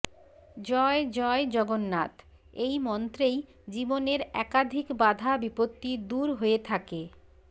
জয় জয় জগন্নাথ এই মন্ত্রেই জীবনের একাধিক বাধা বিপত্তি দূর হয়ে থাকে